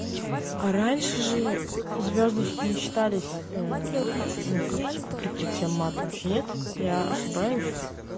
а раньше же звёздочки не считались ну как типа прикрытием мата нет я ошибаюсь